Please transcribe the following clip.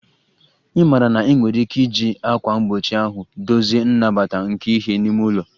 Ị maara na ị nwere ike iji ákwà mgbochi ahụ dozie nnabata nke ìhè n'ime ụlọ